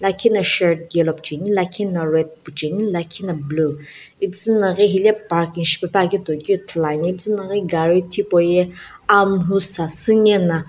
lakhi na shirt yellow pucheni lakhi na red pucheni lakhi na blue ipuzu na ghi hile parking shipepuakeu toi ithuluani ipuzunaghi gari hipauye amulhu sasüne na.